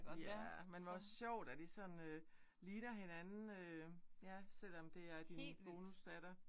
Ja men hvor sjovt at I sådan øh ligner hinanden øh ja selvom at det er din bonusdatter